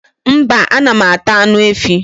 mba, anam ata anụ efi